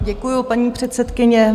Děkuji, paní předsedkyně.